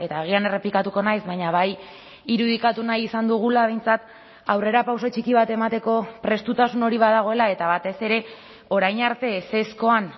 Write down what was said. agian errepikatuko naiz baina bai irudikatu nahi izan dugula behintzat aurrerapauso txiki bat emateko prestutasun hori badagoela eta batez ere orain arte ezezkoan